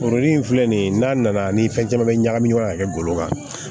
Foro in filɛ nin ye n'a nana ni fɛn caman bɛ ɲagami ɲɔgɔn na ka kɛ ggolo kan